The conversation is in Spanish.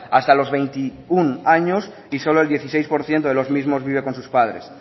hasta los veintiuno años y solo el dieciséis por ciento de los mismos viven con su padres